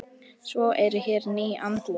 Svo eru hér ný andlit.